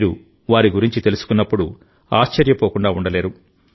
మీరువారి గురించి తెలుసుకున్నప్పుడు ఆశ్చర్యపోకుండా ఉండలేరు